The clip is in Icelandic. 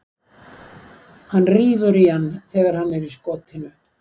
Hann rífur í hann þegar hann er í skotinu.